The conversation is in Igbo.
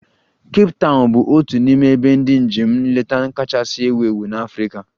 Kape Tawn bụ otu n'ime ebe ndị njem nleta kachasị ewu ewu na Africa